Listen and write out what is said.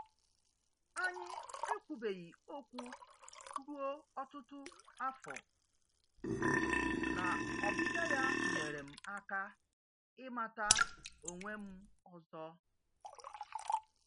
Anyị ekwubeghị okwu ruo ọtụtụ afọ, na ọbịbịa ya nyeere m aka ịmata onwe m ọzọ.